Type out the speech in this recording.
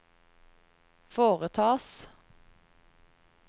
foretas